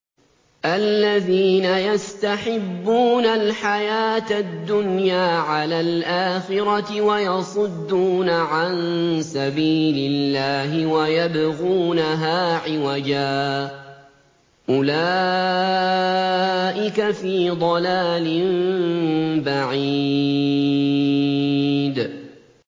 الَّذِينَ يَسْتَحِبُّونَ الْحَيَاةَ الدُّنْيَا عَلَى الْآخِرَةِ وَيَصُدُّونَ عَن سَبِيلِ اللَّهِ وَيَبْغُونَهَا عِوَجًا ۚ أُولَٰئِكَ فِي ضَلَالٍ بَعِيدٍ